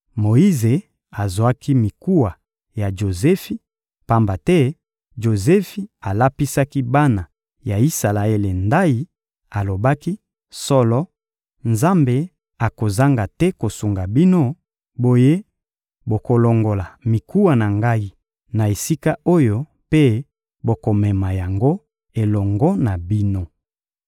Moyize azwaki mikuwa ya Jozefi, pamba te Jozefi alapisaki bana ya Isalaele ndayi; alobaki: «Solo, Nzambe akozanga te kosunga bino, boye bokolongola mikuwa na ngai na esika oyo mpe bokomema yango elongo na bino.»